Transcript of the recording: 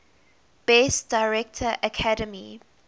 best director academy